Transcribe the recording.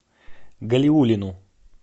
галиуллину